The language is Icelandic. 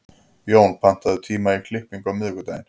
Jón, pantaðu tíma í klippingu á miðvikudaginn.